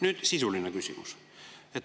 Nüüd sisuline küsimus.